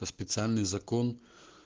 специальный закон